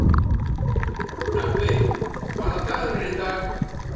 Nökkvi, hvaða dagur er í dag?